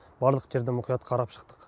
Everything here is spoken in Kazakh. барлық жерден мұқият қарап шықтық